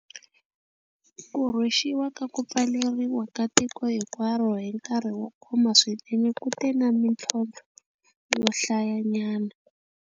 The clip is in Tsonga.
Ku rhwexiwa ka ku pfaleriwa ka tiko hinkwaro hi nkarhi wo koma swinene ku te na mitlhontlho yo hlayanyana.